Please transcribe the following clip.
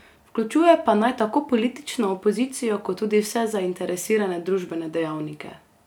Vključuje pa naj tako politično opozicijo kot tudi vse zainteresirane družbene dejavnike.